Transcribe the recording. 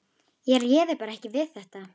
Ég réði bara ekki við þetta.